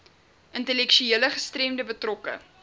intellektuele gestremdhede betrokke